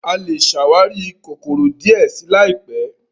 a lẹ ṣàwarí kòkòrò díẹ sí láìpé.